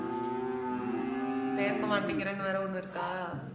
பேச மாட்டேங்கிறேன்னு வேற ஒண்ணு இருக்கா?